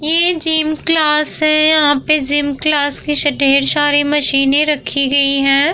ये gym class है। यहाँ पे जिम की से ढेर सारी मशीने रखी हुई है।